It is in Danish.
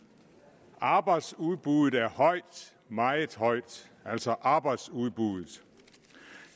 og arbejdsudbuddet er højt meget højt altså arbejdsudbuddet